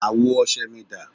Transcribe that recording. Àwo ọṣẹ mi dà?